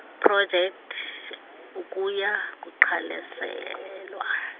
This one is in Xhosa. projekthi okuya kuqwalaselwa